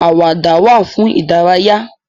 Àwàdà wà fún ìdárayá.